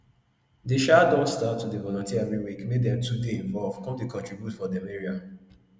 dey um don start to dey volunteer every week make dem too dey involve come dey contribute for dem area